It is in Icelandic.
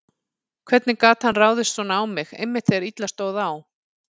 Hvernig gat hann ráðist svona á mig, einmitt þegar illa stóð á?